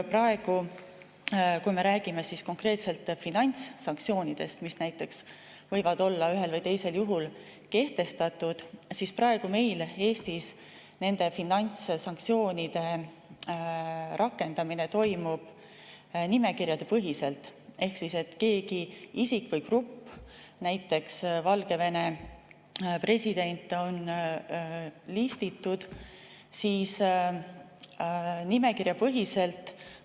Praegu, kui me räägime konkreetselt finantssanktsioonidest, mis näiteks võivad olla ühel või teisel juhul kehtestatud, siis Eestis nende rakendamine toimub nimekirjapõhiselt ehk keegi isik või grupp, näiteks Valgevene president, on listitud nimekirjapõhiselt.